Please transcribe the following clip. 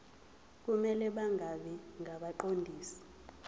kumele bangabi ngabaqondisi